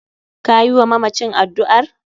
Kayi wa mamacin addu'ar?